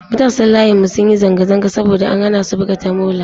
Matasan layinmu sun yi zanga-zanga saboda an hana su buga tamola.